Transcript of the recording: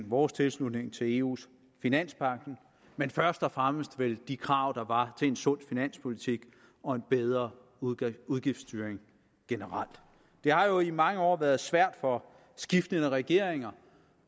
vores tilslutning til eus finanspagt men først og fremmest vel de krav der var til en sund finanspolitik og en bedre udgiftsstyring generelt det har jo i mange år været svært for skiftende regeringer